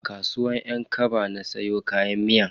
A kasuwar yan kaba na siya kayan miyan.